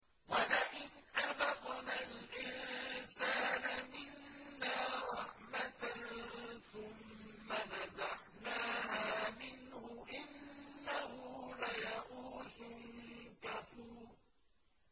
وَلَئِنْ أَذَقْنَا الْإِنسَانَ مِنَّا رَحْمَةً ثُمَّ نَزَعْنَاهَا مِنْهُ إِنَّهُ لَيَئُوسٌ كَفُورٌ